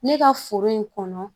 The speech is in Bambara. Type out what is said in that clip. Ne ka foro in kɔnɔ